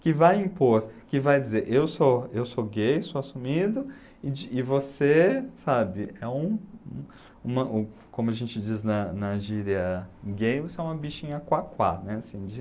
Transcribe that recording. Que vai impor, que vai dizer, eu sou eu sou gay, sou assumido, e de e você, sabe, é um uma um, como a gente diz na na gíria gay, você é uma bichinha quaquá, né, assim de,